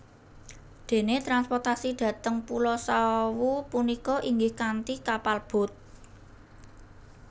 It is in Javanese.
Dene transportasi dhateng pulo Sawu punika inggih kanthi kapal boat